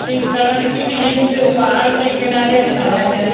इस सड़क के इस पहाड़ के किनारे सड़क है।